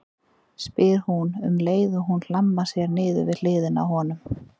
spyr hún um leið og hún hlammar sér niður við hliðina á honum.